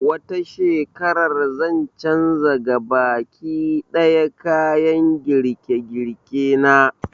Wata shekarar zan canza gabaki ɗaya kayan girke-girke na